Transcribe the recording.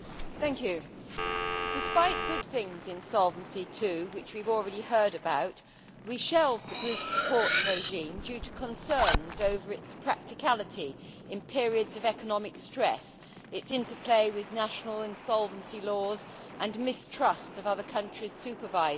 Madam President, despite good things in Solvency II, which we have already heard about, we shelved the group support regime due to concerns over its practicality in periods of economic stress, its interplay with national insolvency laws and mistrust of other countries' supervisors.